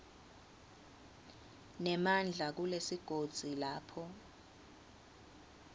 nemandla kulesigodzi lapho